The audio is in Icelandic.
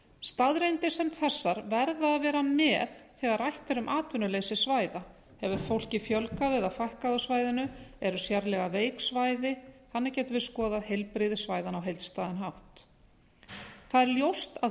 staðreyndir sem þessar verða að vera með þegar rætt er um atvinnuleysi svæða hefur fólki fjölgað eða fækkað á svæðinu eru sérlega veik svæði þannig getum við skoði heilbrigði svæðanna á heildstæðan hátt það er ljóst að